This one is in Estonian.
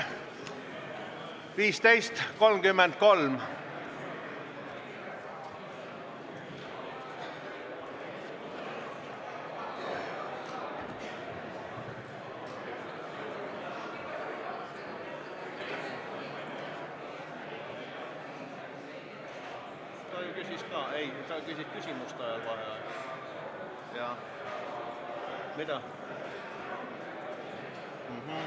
Viis minutit vaheaega.